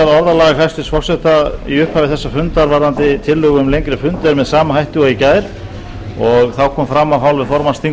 málsgreinar tíundu greinar þingskapa a vikið sé frá ákvæðum um lengd þingfunda á þessum starfsdegi